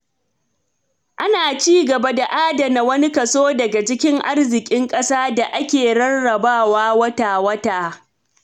Ana ci gaba da adana wani kaso daga cikin arzikin ƙasa da ake rarrabawa wata-wata.